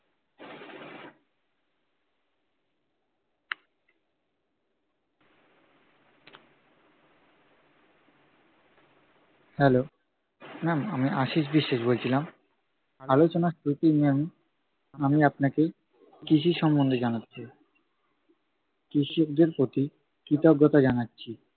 Hello, ma'am আমি আশীষ বিশ্বাস বলছিলাম। আলোচনার শুরুতেই ma'am আমি আপনাকে কৃষি সম্বন্ধে জানাতে চাই। কৃষকদের প্রতি কৃতজ্ঞতা জানাচ্ছি।